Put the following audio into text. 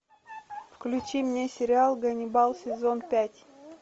включи мне сериал ганнибал сезон пять